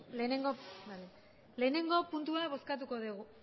batgarrena puntua bozkatuko dugu